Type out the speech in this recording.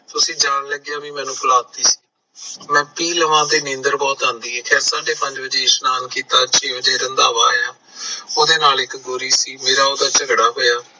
ਤੁਸੀਂ ਜਾਣ ਲੱਗਿਆ ਵੀ ਮੈਨੂੰ ਪਿਲਾਤੀ ਮੈਂ ਪੀ ਲਾ ਤਾਂ ਨੀਂਦਰ ਬਹੁਤ ਆਉਂਦੀ ਐ ਇਸ਼ਨਾਨ ਕੀਤਾ ਛੇ ਵਜੇ ਰੰਧਾਵਾ ਆਇਆ ਉਹਦੇ ਨਾਲ ਇੱਕ ਗੋਰੀ ਸੀ ਮੇਰਾ ਉਹਦੇ ਨਾਲ ਝਗੜਾ ਹੋਇਆ